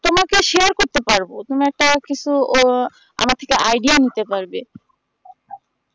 তোমাকে share করতে পারবো তোমাকে কিছু ও আমার থেকে idea নিতে পারবে